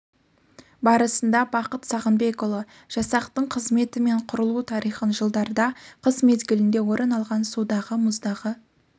барысында бахыт сағынбекұлы жасақтың қызметі мен құрылу тарихын жылдарда қыс мезгілінде орын алған судағы мұздағы